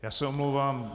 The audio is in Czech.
Já se omlouvám.